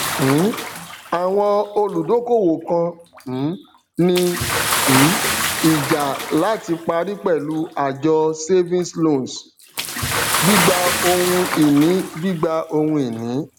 um àwọn olùdókòwò kan um ní um ìjà láti parí pẹlú àjọ savings loans gbígba ohun ìní gbígba ohun ìní